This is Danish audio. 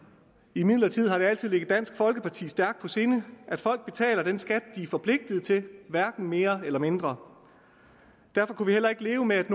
imidlertid altid ligget dansk folkeparti stærkt på sinde at folk betaler den skat de er forpligtet til hverken mere eller mindre derfor kunne vi heller ikke leve med at